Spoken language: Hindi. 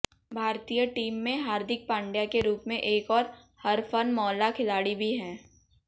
भारतीय टीम में हार्दिक पांड्या के रूप में एक और हरफनमौला खिलाड़ी भी है